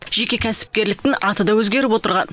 жеке кәсіпкерліктің аты да өзгеріп отырған